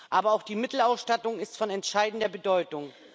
Aber auch die Mittelausstattung ist von entscheidender Bedeutung.